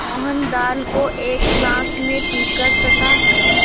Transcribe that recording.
मोहन दाल को एक साँस में पीकर तथा